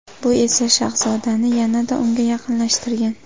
Bu esa shahzodani yanada unga yaqinlashtirgan.